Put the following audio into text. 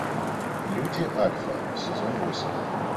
люди альфа сезон восемь